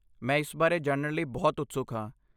ਮੈਂ ਇਸ ਬਾਰੇ ਜਾਣਣ ਲਈ ਬਹੁਤ ਉਤਸੁਕ ਹਾਂ।